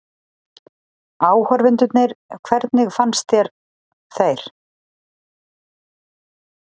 Áhorfendurnir hvernig fannst þér þeir?